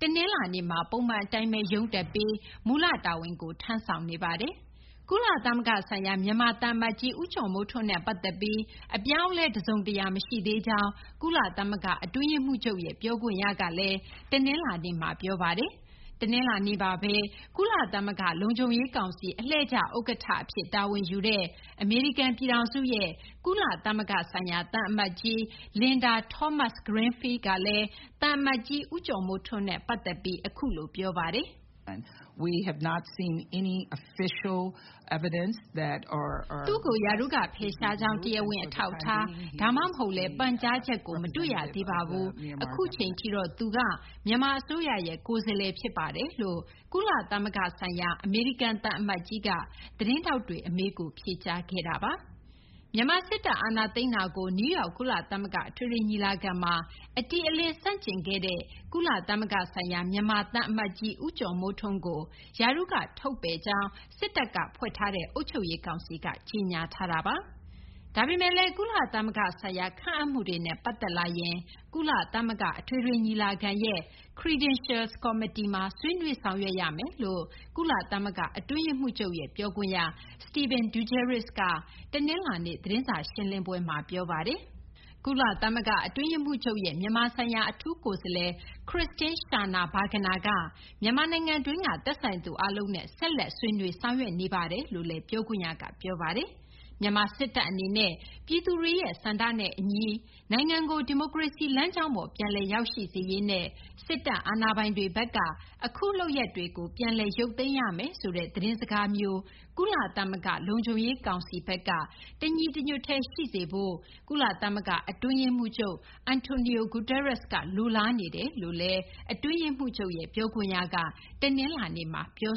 တနလာၤနေ့မှာ ပုံမှန် အတိုင်းဘဲ ရုံးတက်ပြီး မူလတာဝန်ကို ထမ်းဆောင်နေပါတယ်။ ကုလသမဂ္ဂ ဆိုင်ရာ မြန်မာ သံအမတ်ကြီး ဦးကျော်မိုးထွန်းနဲ့ ပတ်သက်ပြီး အပြောင်းအလဲ တစုံတရာ မရှိသေးကြောင်း ကုလသမဂ္ဂ အတွင်းရေးမှူးချုပ်ရဲ့ ပြောခွင့်ရက တနလာၤနေ့မှာ ပြောပါတယ်။ တနလာၤနေ့မှာဘဲ ကုလသမဂ္ဂ လုံခြုံရေး ကောင်စီ အလှည့်ကျ ဥက္ကဌ အဖြစ် တာဝန်ယူတဲ့ အမေရိကန် ပြည်ထောင်စုရဲ့ ကုလသမဂ္ဂ ဆိုင်ရာ အမေရိကန် သံအမတ်ကြီး Linda Thomas-Greenfield ကလည်း သံအမတ်ကြီး ဦးကျော်မိုးထွန်းနဲ့ ပတ်သက်ပြီး အခုလို ပြောပါတယ်။ "သူ့ကို ရာထူးက ဖယ်ရှားကြောင်း တရားဝင် အထောက်အထား ဒါမှမဟုတ်လည်း ပန်ကြားချက်ကို မတွေ့ရသေးပါဘူး။ အခုအချိန်ထိတော့ သူက မြန်မာ အစိုးရရဲ့ ကိုယ်စားလှယ် ဖြစ်ပါတယ်" လို့ ကုလသမဂ္ဂဆိုင်ရာ အမေရိကန် သံအမတ်ကြီးက သတင်းထောက်တွေ အမေးကို ဖြေကြားခဲ့တာပါ။ မြန်မာ စစ်တပ် အာဏာသိမ်းတာကို နယူးယောက် ကုလသမဂ္ဂ အထွေထွေ ညီလာခံမှာ အတိအလင်း ဆန့်ကျင်ခဲ့တဲ့ ကုလသမဂ္ဂ ဆိုင်ရာ မြန်မာ သံအမတ်ကြီး ဦးကျော်မိုးထွန်းကို ရာထူးက ထုတ်ပယ်ကြောင်း စစ်တပ်က ဖွဲ့ထားတဲ့ အုပ်ချုပ်ရေး ကောင်စီက ကြေညာထားတာပါ။ ဒါပေမယ့် ကုလသမဂ္ဂ ဆိုင်ရာ ခန့်အပ်မှုတွေနဲ့ ပတ်သက်လာရင် ကုလသမဂ္ဂ အထွေထွေ ညီလာခံရဲ့ Credentials Committee မှာ ဆွေးနွေး ဆောင်ရွက်ကြမယ်လို့ ကုလသမဂ္ဂ အတွင်းရေးမှူးချုပ်ရဲ့ ပြောခွင့်ရ Stéphane Dujarric က တနလာၤနေ့ သတင်းစာ ရှင်းလင်းပွဲမှာ ပြောဆိုခဲ့ပါတယ်။ ကုလသမဂ္ဂ အတွင်းရေးမှူးချုပ်ရဲ့ မြန်မာဆိုင်ရာ အထူးကိုယ်စားလှယ် Christine Schraner Burgener က မြန်မာနိုင်ငံတွင်းက သက်ဆိုင်သူ အားလုံးနဲ့ ဆက်လက် ဆွေးနွေး ဆောင်ရွက်နေတယ်လို့လည်း ပြောခွင့်ရက ပြောပါတယ်။ မြန်မာ စစ်တပ် အနေနဲ့ ပြည်သူတွေရဲ့ ဆန္ဒနဲ့ အညီ နိုင်ငံကို ဒီမိုကရေစီ လမ်းကြောင်းပေါ် ပြန်လည် ရောက်ရှိစေရေးနဲ့ စစ်တပ် အာဏာပိုင်တွေဘက်က အခု လုပ်ရပ်တွေကို ပြန်လည်ရုပ်သိမ်းရမယ်ဆိုတဲ့ သတင်းစကားမျိုး ကုလသမဂ္ဂ လုံခြုံရေး ကောင်စီဘက်က တညီတညွတ်တည်း ရှိစေဖို့ ကုလသမဂ္ဂ အတွင်းရေးမှူးချုပ် Antonio Guterres ဘက်က လိုလားနေတယ်လို့လည်း အတွင်းရေးမှူးချုပ်ရဲ့ ပြောခွင့်ရက တနလာၤနေ့မှာ ပြော